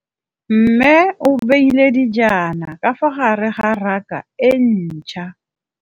Mmê o beile dijana ka fa gare ga raka e ntšha.